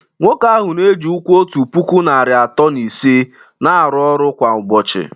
Nwoke ahụ na-eji ụkwụ otu puku narị atọ na ise na-arụ ọrụ kwa ụbọchị